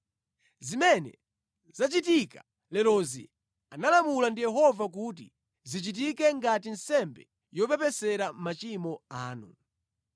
Zimene zachitika lerozi analamula ndi Yehova kuti zichitike ngati nsembe yopepesera machimo anu.